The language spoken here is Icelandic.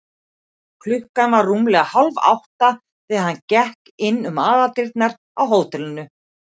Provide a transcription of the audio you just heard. Klukkan var rúmlega hálfátta, þegar hann gekk inn um aðaldyrnar á hótelinu.